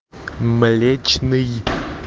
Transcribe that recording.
млечный